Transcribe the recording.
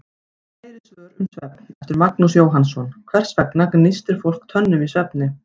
Fleiri svör um svefn, eftir Magnús Jóhannsson: Hvers vegna gnístir fólk tönnum í svefni?